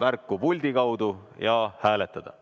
märku puldi kaudu ja hääletada!